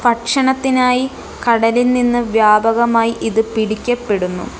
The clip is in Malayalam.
ഭക്ഷണത്തിനായി കടലിൽ നിന്ന് വ്യാപകമായി ഇത് പിടിക്കപ്പെടുന്നു.